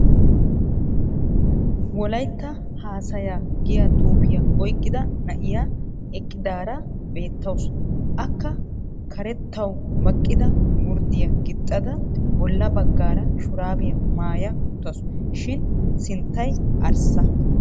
Wolaytta asshaha giya xufiya oyqida na'iya eqqidaara beettawusu. Akka karettawu baqida gurddiya gixxida bolla bagaara shuraabiya maaya uttaasu shin sinttay arssa.